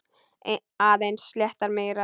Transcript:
Aðeins sléttar mýrar.